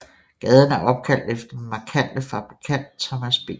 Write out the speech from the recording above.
Gaden er opkaldt efter den markante fabrikant Thomas B